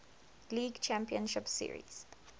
league championship series